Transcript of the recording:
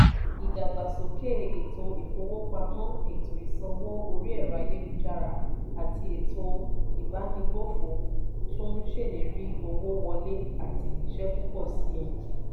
ìdàgbàsókè ètò ìfowópamọ́ ètò ìsanwó orí ẹ̀rọ-ayélujára àti ètò ìbánigbófò tún ń ṣèlérí owó wọlé àti iṣẹ́ púpọ̀ sí i.